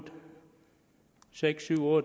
syv og